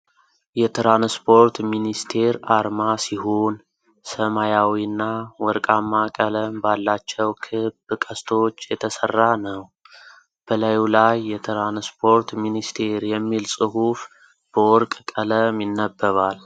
የትራንስፖርት ሚኒስቴር አርማ ሲሆን፣ ሰማያዊና ወርቃማ ቀለም ባላቸው ክብ ቀስቶች የተሰራ ነው። በላዩ ላይ "የትራንስፖርት ሚኒስቴር" የሚል ጽሑፍ በወርቅ ቀለም ይነበባል።